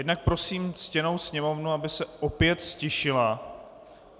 Jednak prosím ctěnou Sněmovnu, aby se opět ztišila.